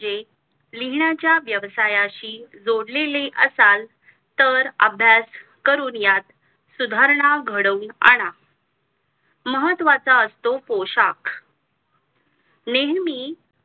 म्हणजे लिहिणाच्या व्यवसायाशी जोडलेले असाल तर अभ्यास करून यात सुधारणा घडवून आणा महत्वाचा असतो पोशाख नेहेमी